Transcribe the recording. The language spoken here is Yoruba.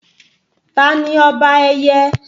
Tani ọba ẹyẹ?